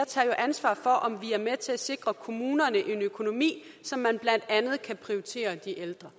tager jo ansvar for om vi er med til at sikre kommunerne en økonomi så man blandt andet kan prioritere de ældre